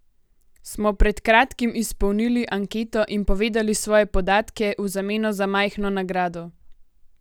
Smo pred kratkim izpolnili anketo in povedali svoje podatke v zameno za majhno nagrado?